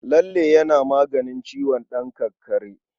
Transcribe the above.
Lalle yana maganin ciwon ɗan kakkare.